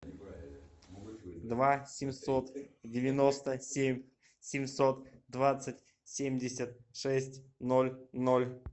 два семьсот девяносто семь семьсот двадцать семьдесят шесть ноль ноль